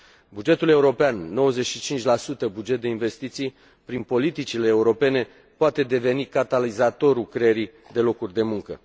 Bugetul european, 95 buget de investiții, prin politicile europene, poate deveni catalizatorul creării de locuri de muncă.